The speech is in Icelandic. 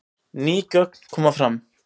Ný gögn koma fram